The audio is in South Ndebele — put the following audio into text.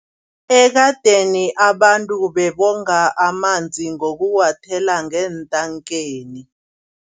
Ekadeni abantu bebonga amanzi ngokuwathela ngeentankeni.